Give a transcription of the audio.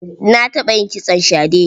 Na taɓa yin kitson shade.